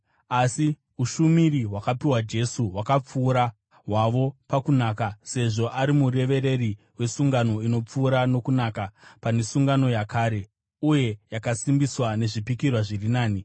Asi ushumiri hwakapiwa Jesu hwakapfuura hwavo pakunaka sezvo ari murevereri wesungano inopfuura nokunaka pane sungano yakare, uye yakasimbiswa nezvipikirwa zviri nani.